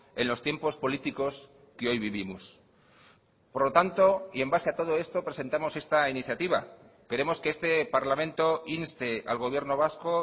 en los tiempos políticos que hoy vivimos por lo tanto y en base a todo esto presentamos esta iniciativa queremos que este parlamento inste al gobierno vasco